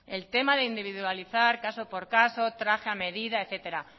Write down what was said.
el tema de individualizar caso por caso traje a medida etcétera